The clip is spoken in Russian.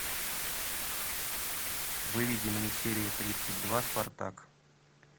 выведи мне серию тридцать два спартак